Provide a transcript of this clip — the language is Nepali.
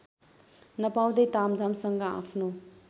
नपाउँदै तामझामसँग आफ्नो